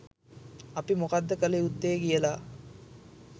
අපි මොකක්ද කළ යුත්තේ කියලා